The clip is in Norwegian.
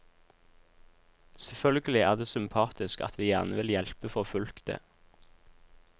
Selvfølgelig er det sympatisk at vi gjerne vil hjelpe forfulgte.